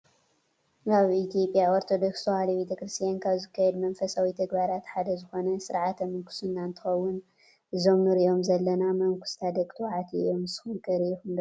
ኣብ ኢትዮጵያ ኦርቶዶክስ ተዋህዶ ቤተክርስቲያን ካብ ዝካየዱ መንፈሳዊ ተግባራት ሓደ ዝኾነ ስርዓተ ምንኩስና እንትኽውን እዞም እንሪኦም ዘለና መነኩሰታት ደቂ ተባዕትዮ እዮም። ንስኹም ከ ሪኢኹም ትፈልጡ ዶ?